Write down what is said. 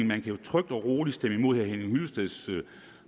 man jo trygt og roligt kan stemme imod herre henning hyllesteds